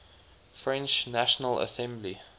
french national assembly